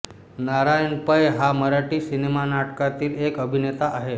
नारायण पै हा मराठी सिनेनाटकातील एक अभिनेता आहे